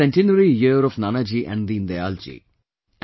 This is the centenary year of Nanaji and Deen Dayal ji